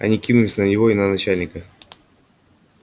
они кинулись на него и на начальника